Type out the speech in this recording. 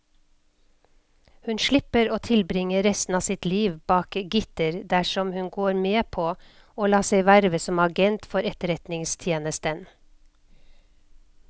Hun slipper å tilbringe resten av sitt liv bak gitter dersom hun går med på å la seg verve som agent for etterretningstjenesten.